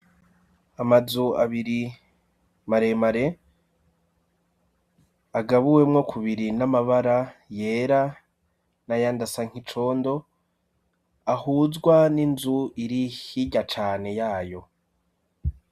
amazu abiri maremare agabuwemwo ku biri n'amabara yera na yandasa nkicondo ahuzwa n'inzu iri hirya cane yayo